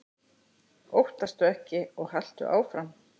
Óttastu ekki og haltu áfram!